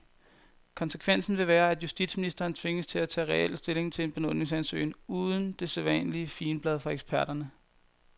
Konsekvensen vil være, at justitsministeren tvinges til at tage reel stilling til en benådningsansøgning uden det sædvanlige figenblad fra eksperterne.